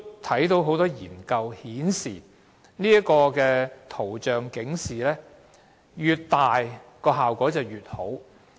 從多項研究顯示，圖像警示越大，效果越佳。